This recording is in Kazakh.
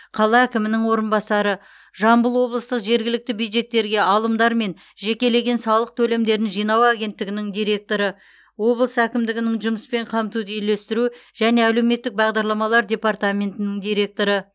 қала әкімінің орынбасары жамбыл облыстық жергілікті бюджеттерге алымдар мен жекелеген салық төлемдерін жинау агенттігінің директоры облыс әкімдігінің жұмыспен қамтуды үйлестіру және әлеуметтік бағдарламалар департаментінің директоры